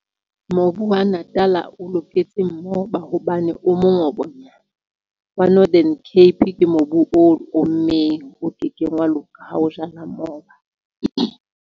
Mobu wa Natal-a o loketse moba hobane o mongobonyana wa Northern Cape ke mobu o ommeng, o kekeng wa loka ha o jala moba.